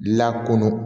La kɔnɔ